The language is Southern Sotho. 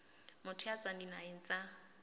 motho ya tswang dinaheng tsa